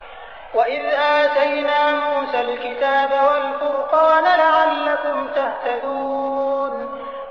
وَإِذْ آتَيْنَا مُوسَى الْكِتَابَ وَالْفُرْقَانَ لَعَلَّكُمْ تَهْتَدُونَ